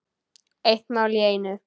Eitt mál í einu.